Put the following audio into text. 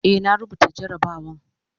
Eh, na rubuta jarabawan